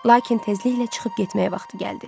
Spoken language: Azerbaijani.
Lakin tezliklə çıxıb getmək vaxtı gəldi.